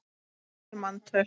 önnur manntöl